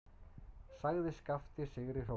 sagði Skapti sigri hrósandi.